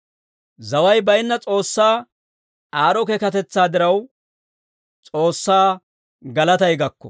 Zaway bayinna S'oossaa aad'd'o keekatetsaa diraw, S'oossaa galatay gakko.